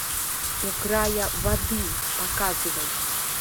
у края воды показывай